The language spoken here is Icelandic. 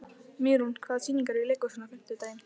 Mýrún, hvaða sýningar eru í leikhúsinu á fimmtudaginn?